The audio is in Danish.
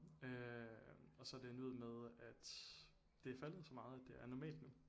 Øh og så er det endt ud med at det er faldet så meget at det er normalt nu